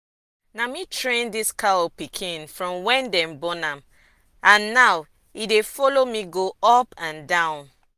na me train this cow pikin from wen dey born am and now e dey follow me go up and down.